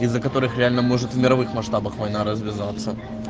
из-за которых реально может в мировых масштабах война развиваться